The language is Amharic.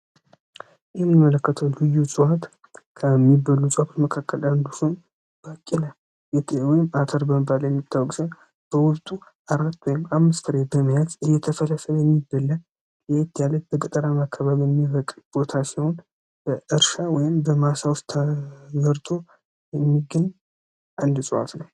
ይህምን መለከትው ልዩ እዕዋት ከሚበሉ ጸብት መካከል አንዱሆን ባቂለ የወም አተር በንባል የሚታወቅዘ በወብጡ አራት ወይም አምስፍሬት በመያት እየተፈለሰ የሚበለ ሊት ያለት በቀጠራም አካበል የሚበቅ ቦታ ሲሆን በእርሻ ወይም በማሳ ውስጥ ተገርቶ የሚገኝ አንድጸዋት ነው፡፡